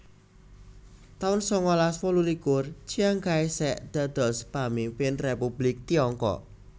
taun sangalas wolulikur Chiang Kai shek dados pamimpin Republik Tiongkok